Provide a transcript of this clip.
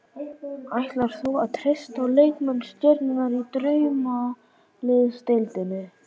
Ætlar þú að treysta á leikmenn stjörnunnar í Draumaliðsdeildinni?